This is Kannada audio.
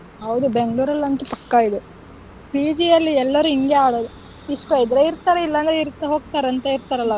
ಹೌದು Bangalore ಲ್ಲಂತೂ ಪಕ್ಕ ಇದು PG ಅಲ್ಲಿ ಎಲ್ಲರೂ ಹಿಂಗೇ ಆಡೋದು ಇಷ್ಟ ಇದ್ರೆ ಇರ್ತಾರೆ ಇಲ್ಲಂದ್ರೆ ಹೋಗತರೆ ಅಂತ ಇರ್ತಾರಲ್ಲ ಅವ್ರು.